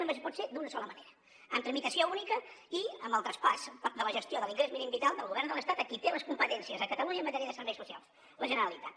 només pot ser d’una sola manera amb tramitació única i amb el traspàs de la gestió de l’ingrés mínim vital del govern de l’estat a qui té les competències a catalunya en matèria de serveis socials la generalitat